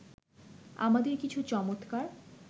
আমাদের কিছু চমৎকার